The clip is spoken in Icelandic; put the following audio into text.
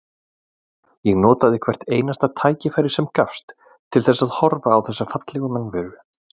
Ég notaði hvert einasta tækifæri sem gafst til þess að horfa á þessa fallegu mannveru.